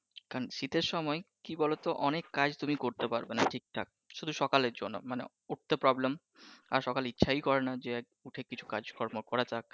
কারন শীতের সময় কি বলতো অনেক কাজ তুমি করতে পারবেনা তুমি ঠিকঠাক । শুধু সকালের জন্য মানে উঠতে problem আর সকালে ইচ্ছাই করে না যে উঠে কিছু কাজ কর্ম করা যাক